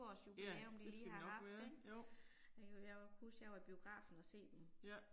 Ja, det skal det nok være, jo. Ja